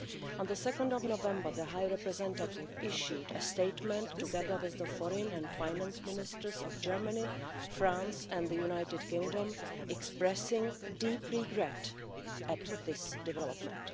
On 2 November, the High Representative issued a statement together with the Foreign and Finance Ministers of Germany, France and the United Kingdom, expressing deep regret at this development.